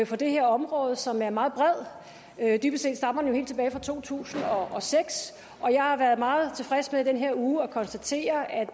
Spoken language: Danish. for det her område som er meget bred dybest set stammer den jo helt tilbage fra to tusind og seks og jeg har været meget tilfreds med i den her uge at kunne konstatere at